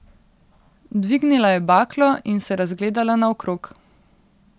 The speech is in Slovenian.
Dvignila je baklo in se razgledala naokrog.